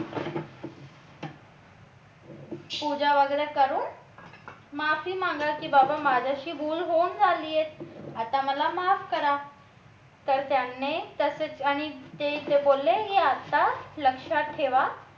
पूजा वगैरे करून माफी मागा की बाबा माझ्याशी भूल होऊन झाली आहे आता मला माफ करा तर त्याने तसेच आणि ते ते बोलले की आता लक्षात ठेवा